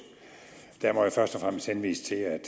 der må jeg først og fremmest henvise til at